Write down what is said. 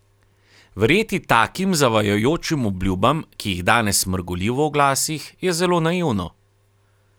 Verjeti takim zavajajočim obljubam, ki jih danes mrgoli v oglasih, je zelo naivno.